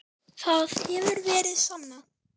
Það hefur verið sannað.